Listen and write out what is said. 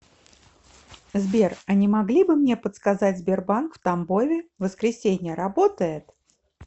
сбер а не могли бы мне подсказать сбербанк в тамбове воскресенье работает